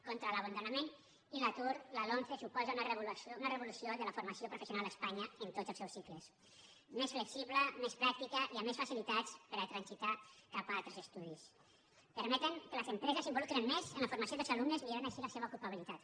contra l’abandonament i l’atur la lomce suposa una revolució de la formació professional a espanya en tots els seus cicles més flexible més pràctica i amb més facilitats per a transitar cap a altres estudis permet que les empreses s’involucren més en la formació dels alumnes i milloren així la seva ocupabilitat